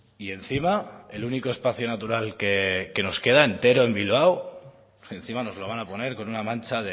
y encima el único espacio natural que nos queda entero en bilbao encima nos lo van a poner con una mancha